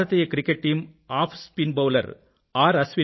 Bharatiya cricket team off spin bowler are